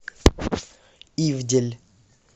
ивдель